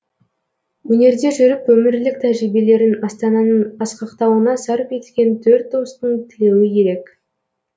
өнерде жүріп өмірлік тәжірибелерін астананың асқақтауына сарп еткен төрт достың тілеуі ерек